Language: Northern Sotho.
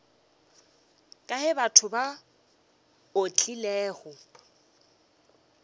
kae batho ba o tlilego